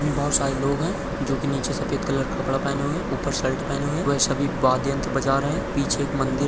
बहुत सारे लोग है जो की नीचे सफेद कलर का कपडा पेहने हुए है उपर शर्ट पेहने हुए है वह सभी बाद यंत्र बजा रहे है पीछे एक मंदिर--